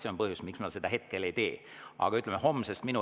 See on põhjus, miks ma seda hetkel ei tee, aga, ütleme, homsest.